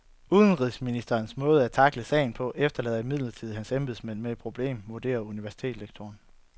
Udenrigsministerens måde at tackle sagen på efterlader imidlertid hans embedsmænd med et problem, vurderer universitetslektoren.